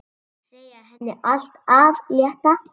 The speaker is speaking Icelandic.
Segja henni allt af létta.